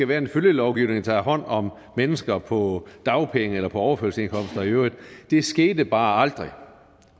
være en følgelovgivning der tog hånd om mennesker på dagpenge eller på overførselsindkomster i øvrigt det skete bare aldrig